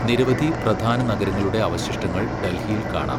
നിരവധി പ്രധാന നഗരങ്ങളുടെ അവശിഷ്ടങ്ങൾ ഡൽഹിയിൽ കാണാം.